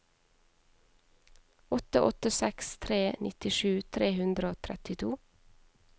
åtte åtte seks tre nittisju tre hundre og trettito